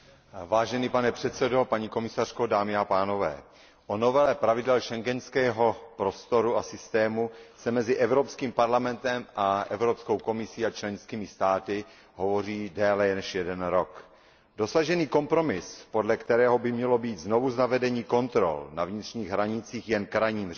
Pane předsedající, o novele pravidel schengenského prostoru a systému se mezi Evropským parlamentem a Evropskou komisí a členskými státy hovoří déle než jeden rok. Dosažený kompromis, podle kterého by mělo být znovuzavedení kontrol na vnitřních hranicích jen krajním řešením,